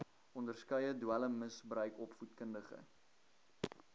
onderskeie dwelmmisbruik opvoedkundige